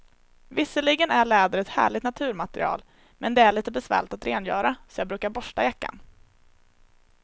Visserligen är läder ett härligt naturmaterial, men det är lite besvärligt att rengöra, så jag brukar borsta jackan.